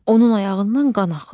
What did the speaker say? Onun ayağından qan axır.